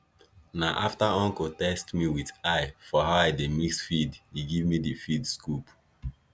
na after uncle test me with eye for how i dey mix feed e give me di feed scoop